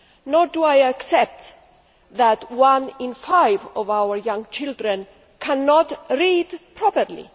Nor do I accept that one in five of our young children cannot read properly.